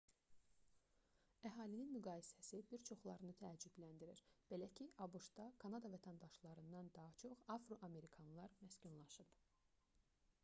əhalinin müqayisəsi bir çoxlarını təəccübləndirir belə ki abş-da kanada vətəndaşlarından daha çox afroamerkanlar məskunlaşıb